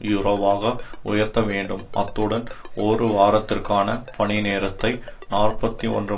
யூரோவாக உயர்த்த வேண்டும் அத்துடன் ஒரு வாரத்திற்கான பணி நேரத்தை நாற்பத்தி ஒன்று